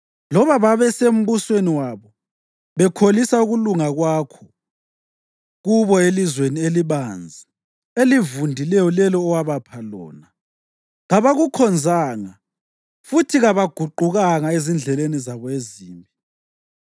Loba babesembusweni wabo, bekholisa ukulunga kwakho kubo elizweni elibanzi elivundileyo lelo owabapha lona, kabakukhonzanga futhi kabaguqukanga ezindleleni zabo ezimbi.